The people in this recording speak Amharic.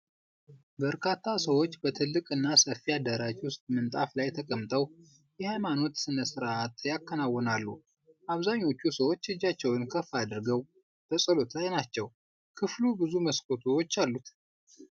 በርካታ ሰዎች በትልቅና ሰፊ አዳራሽ ውስጥ ምንጣፍ ላይ ተቀምጠው የሃይማኖት ሥነ ሥርዓት ያከናውናሉ። አብዛኞቹ ሰዎች እጃቸውን ከፍ አድርገው በጸሎት ላይ ናቸው። ክፍሉ ብዙ መስኮቶች አሉት።